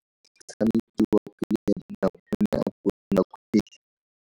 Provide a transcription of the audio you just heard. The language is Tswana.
Motshameki wa kgwele ya dinao o ne a konopa kgwele.